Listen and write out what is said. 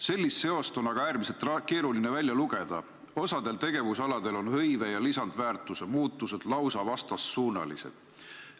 Sellist seost on aga äärmiselt keeruline välja lugeda – osal tegevusaladel on hõive ja lisandväärtuse muutused lausa vastandsuunalised.